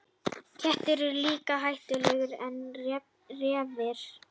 Kettir eru líka hættulegri en refir.